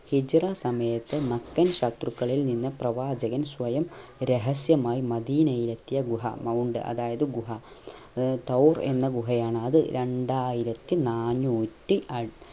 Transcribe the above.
ഹിജ്‌റ സമയത്തു മക്കൻ ശത്രുക്കളിൽ നിന്ന് പ്രവാചകൻ സ്വയം രഹസ്യമായി മദീനയിലെത്തിയ ഗുഹ mount അതായത് ഗുഹ ഏർ തൗർ എന്ന ഗുഹ യാണ് അത് രണ്ടായിരത്തി നാന്നൂറ്റി അ